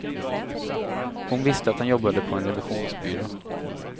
Hon visste att han jobbade på en revisionsbyrå.